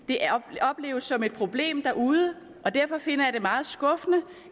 det opleves som et problem derude og derfor finder jeg det meget skuffende